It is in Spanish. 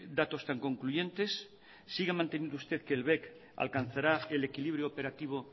datos tan concluyentes sigue manteniendo usted que el bec alcanzará el equilibrio operativo